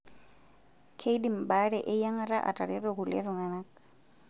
Keidim baare eyiang'ata atareto kulie tung'ana.